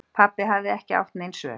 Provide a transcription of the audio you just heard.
Pabbi hafði ekki átt nein svör.